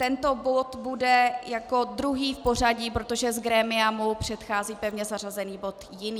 Tento bod bude jako druhý v pořadí, protože z grémia mu předchází pevně zařazený bod jiný.